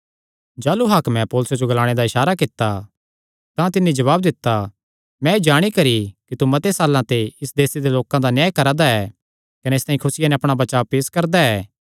जाह़लू हाकमे पौलुसे जो ग्लाणे दा इसारा कित्ता तां तिन्नी जवाब दित्ता मैं एह़ जाणी करी कि तू मते साल्लां ते इस देसे दे लोकां दा न्याय करा दा ऐ कने इसतांई खुसिया नैं अपणा बचाब पेस करदा ऐ